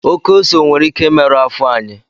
Oke ose nwere ike imerụ afọ anyị.